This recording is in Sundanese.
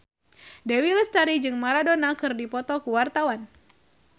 Dewi Lestari jeung Maradona keur dipoto ku wartawan